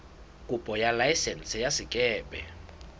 kopo ya laesense ya sekepe